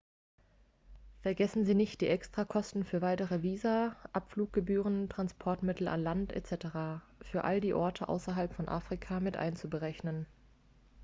vergessen sie nicht die extrakosten für weitere visa abfluggebühren transportmittel an land etc. für all die orte außerhalb von afrika mit einzuberechnen